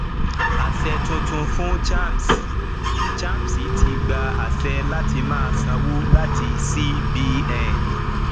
aṣẹ tuntun fún chams chams ti gba àṣẹ láti má sanwó láti cbn